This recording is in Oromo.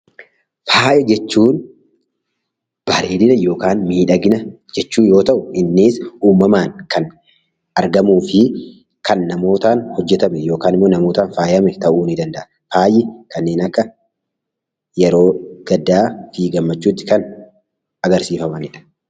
Faaya jechuun bareedina yookaan miidhagina jechuu yoo ta'u, innis uumamaan kan argamuu fi kan namootaan hojjetame yookaan namootaan faayame ta'uu nii danda'a. Faayi kanneen akka yeroo gaddaa fi gammachuu tti kan agarsiifamani dha.